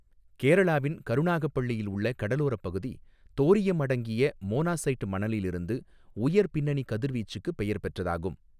கேரளாவின் கருணாகப்பள்ளியில் உள்ள கடலோரப் பகுதி தோரியம் அடங்கிய மோனாஸைட் மணலில் இருந்து உயர் பின்னணி கதிர்வீச்சுக்கு பெயர் பெற்றதாகும்.